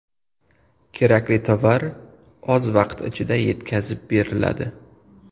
Kerakli tovar oz vaqt ichida yetkazib beriladi.